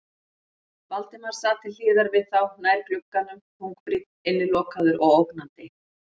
Valdimar sat til hliðar við þá, nær glugganum, þungbrýnn, innilokaður og ógnandi.